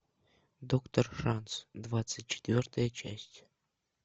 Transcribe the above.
доктор шанс двадцать четвертая часть